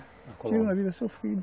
Na Colômbia. Eu tive uma vida sofrida.